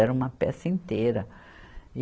Era uma peça inteira.